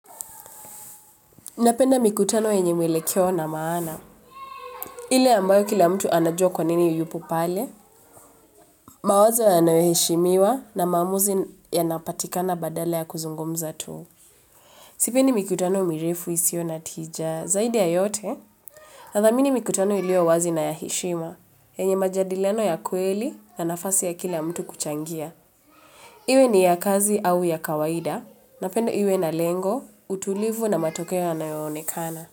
Napenda mikutano yenye mwelekeo kna maana. Ile ambayo kila mtu anajua kwa nini yupo pale. Mawazo yanayoheshimiwa na maamuzi yanapatika na badala ya kuzungumza tu. Sipendi mikutano mirefu isiyo natija zaidi ya yote. Nathamini mikutano iliyo wazi na ya heshima. YEnye majadiliano ya kweli na nafasi ya kila mtu kuchangia. Iwe ni ya kazi au ya kawaida. Napenda iwe na lengo, utulivu na matokeo yanayonekana.